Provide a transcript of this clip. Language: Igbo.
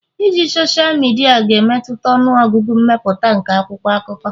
iji sosal midia ga-emetụta ọnụ ọgụgụ mmepụta nke akwụkwọ akụkọ